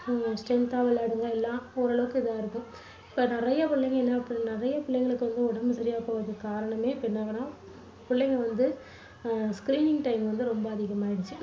உம் strength தா வளருங்க எல்லாம் ஓரளவுக்கு இதா இருக்கும். இப்போ நிறைய பிள்ளைங்க என்ன பண்றா~ நிறைய பிள்ளைங்களுக்கு வந்து உடம்பு சரியா இல்லாம போறதுக்கு காரணமே என்னன்னா புள்ளைங்க வந்து அஹ் screening time வந்து ரொம்ப அதிகமாயிடுச்சு,